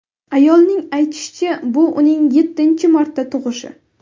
Ayolning aytishicha, bu uning yettinchi marta tug‘ishi.